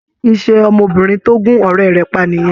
Ṣé kì í ṣe ọmọbìnrin tó gún ọ̀rẹ́ rẹ̀ pa nìyẹn?